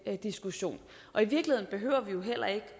diskussion i virkeligheden behøver vi heller ikke